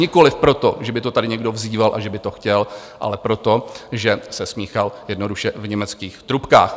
Nikoliv proto, že by to tady někdo vzýval a že by to chtěl, ale proto, že se smíchal jednoduše v německých trubkách.